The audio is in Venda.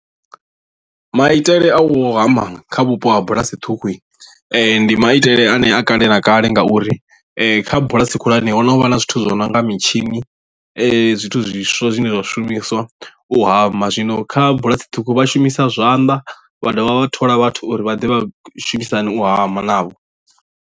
Maitele a u hama kha vhupo ha bulasi ṱhukhu ndi maitele anea kale na kale ngauri kha bulasi khulwane ho no vha na zwithu zwi no nga mitshini zwithu zwiswa zwine zwa shumiswa u hama zwino kha bulasi ṱhukhu vha shumisa zwanḓa vha dovha vha thola vhathu uri vha ḓe vha shumisane u hama navho.